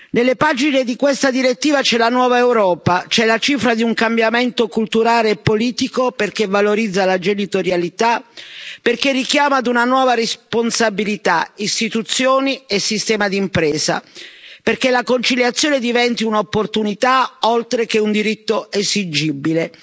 Nelle pagine di questa direttiva c'è la nuova Europa, c'è la cifra di un cambiamento culturale e politico, perché valorizza la genitorialità, perché richiama ad una nuova responsabilità istituzioni e sistema di impresa, perché la conciliazione diventi un'opportunità, oltre che un diritto esigibile,